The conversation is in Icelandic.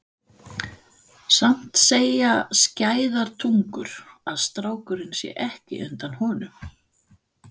Samt segja skæðar tungur að strákurinn sé ekki undan honum.